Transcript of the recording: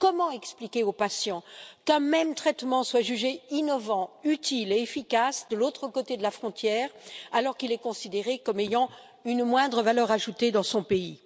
Comment expliquer aux patients qu'un même traitement soit jugé innovant, utile et efficace de l'autre côté de la frontière, alors qu'il est considéré comme ayant une moindre valeur ajoutée dans son pays?